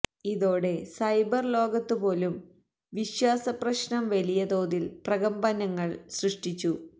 ഇതോടെ സൈബർ ലോകത്ത് പോലും വിശ്വാസ പ്രശ്നം വലിയ തോതിൽ പ്രകമ്പനങ്ങൾ സൃഷ്ടിച്ചു